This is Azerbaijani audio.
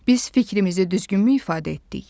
biz fikrimizi düzgünmü ifadə etdik?